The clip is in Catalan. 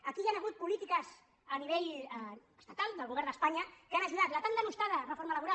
aquí hi han hagut polítiques a nivell estatal del govern d’espanya que hi han ajudat la tan denostada reforma laboral